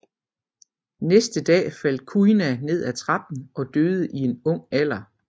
Næste dag faldt Kuina ned af trappen og døde i en ung alder